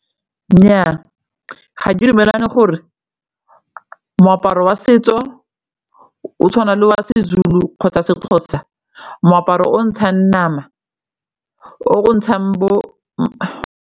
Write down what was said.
Nnyaa ga ke dumelane gore moaparo wa setso o tshwana le wa Sezulu kgotsa Sexhosa, moaparo o ntshang nama, o ntshang bo.